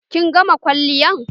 Kin gama kwalliyan?